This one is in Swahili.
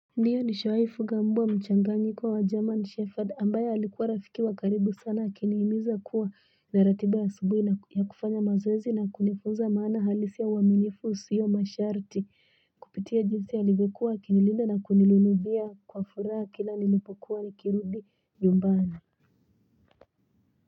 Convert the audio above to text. Ndiyo ni shawai fuga mbwa mchanganyiko wa German Shepherd ambaye alikuwa rafiki wa karibu sana akinihimiza kuwa naratiba ya asubuhi na ya kufanya mazoezi na kunifunza maana halisi ya uaminifu usiyo masharti kupitia jinsi alivyokuwa akinilinda na kunilunubia kwa furaha kila nilipokuwa nikirudi nyumbani.